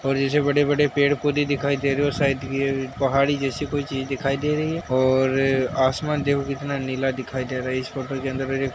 और यह जो बड़े-बड़े पेड़ पौधे दिखाई दे रहे हैं और साइड पहाड़ी जैसी कोई चीज दिखाई दे रही है और आसमान देखो कितना नीला दिखाई दे रहा है। इस फोटो अंदर --